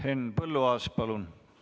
Henn Põlluaas, palun!